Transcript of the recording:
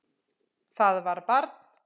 Það var barn.